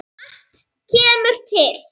Margt kemur til.